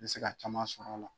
Ne bɛ se ka ca sɔrɔ a la.